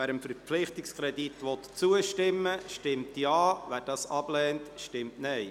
Wer dem Verpflichtungskredit zustimmen will, stimmt Ja, wer dies ablehnt, stimmt Nein.